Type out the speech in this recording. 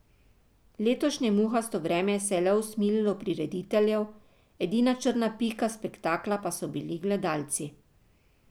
Letošnje muhasto vreme se je le usmililo prirediteljev, edina črna pika spektakla pa so bili gledalci.